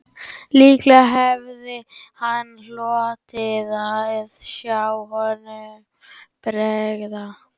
Líklega hefði hann hlotið að sjá honum bregða